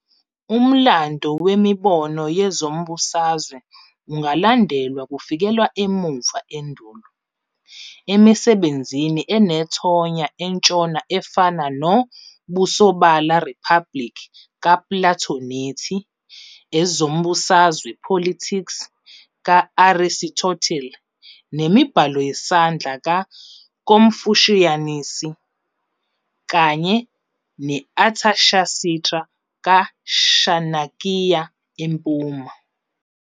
Umlando wemibono yezombusazwe ungalandelwa kufikela emuva endulo, emisebenzini enethonya entshona efana nomBusobala, Republic, kaPlatho nethi Ezombusazwe, Politics, ka-Arisitotile, nemibhalo yesandla ka-Komfushiyasi kanye ne-Athashasitra ka-Shanakiya empuma.